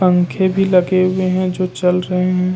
पंखे भी लगे हुए हैं जो चल रहे हैं।